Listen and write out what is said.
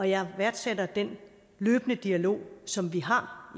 jeg værdsætter den løbende dialog som vi har